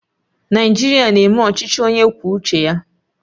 Naijiria na-eme ọchịchị onye kwuo uche ya